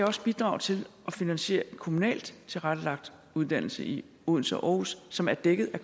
også bidrage til at finansiere en kommunalt tilrettelagt uddannelse i odense og aarhus som er dækket af